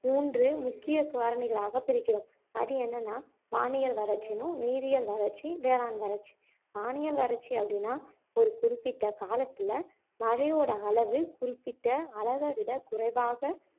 மூன்று முக்கிய காரணிகளாக பிரிக்கிறோம் அது என்னன்னா வானியல் வறட்சின்னும் நீரியியல் வறட்சி வேளாண் வறட்சி வானியல் வறட்சி அப்படின்னா ஒரு குறிப்பிட்ட காலத்துல மழையோட அளவு குறிப்பிட்ட அளவை விட குறைவாக